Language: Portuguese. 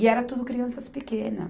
E era tudo crianças pequenas.